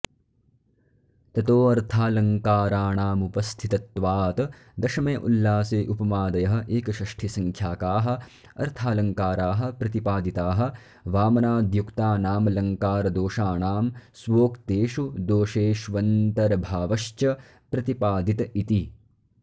ततोऽर्थालङ्काराणामुपस्थितत्त्वात् दशमे उल्लासे उपमादयः एकषष्ठि संख्याकाः अर्थालङ्काराः प्रतिपादिताः वामनाद्युक्तानामलङ्कारदोषाणां स्वोक्तेषु दोषेष्वन्तर्भावश्च प्रतिपादित इति